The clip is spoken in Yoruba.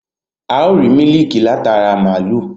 A ó rìí mílíkì láti ara màlúù